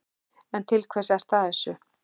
En til hvers ertu að þessu?